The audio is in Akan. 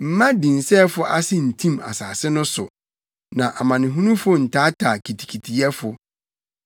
Mma dinsɛefo ase ntim asase no so; ma amanehunu ntaataa kitikitiyɛfo.